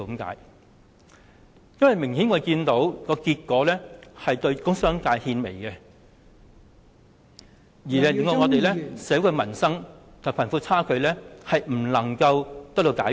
我們明顯看到，今次預算案的結果是對工商界獻媚，致令社會的民生、貧富差距問題得不到解決。